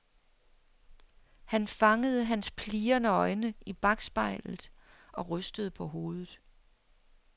Han fangede hans plirrende øjne i bakspejlet og rystede på hovedet.